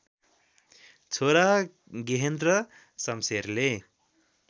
छोरा गेहेन्द्र शमशेरले